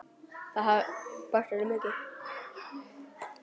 Það hefði bætt þetta mikið.